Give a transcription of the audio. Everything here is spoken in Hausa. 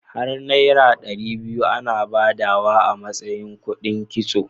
Har naira ɗari biyu ana badawa a matsayina kudin kitso.